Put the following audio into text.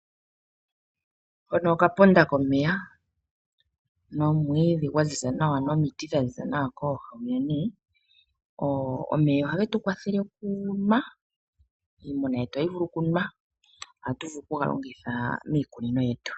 Hano Okapoda komeya nomwiidhi gwa ziza nawa nomiti dha ziza nawa kooha dhomeya. Omeya ohage tu kwathele okunwa, iimuna yetu ohayi vulu okunwa. Ohatu vulu okuga longitha miikunino yetu.